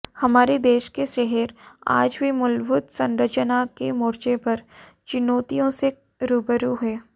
हमारे देश के शहर आज भी मूलभूत संरचना के मोर्चे पर चुनौतियों से रूबरू हैं